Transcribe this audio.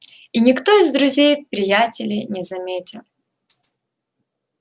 и никто из друзей приятелей не заметил